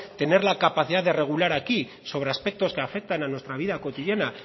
tener la capacidad de regular aquí sobre aspectos que afectan a nuestra vida cotidiana